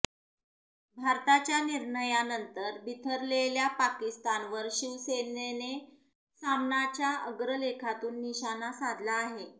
भारताच्या निर्णयानंतर बिथरलेल्या पाकिस्तानवर शिवसेनने सामनाच्या अग्रलेखातून निशाणा साधला आहे